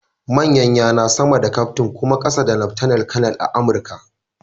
Manyan yana sama da kyaftin kuma ƙasa da laftanar kanar a Amurka.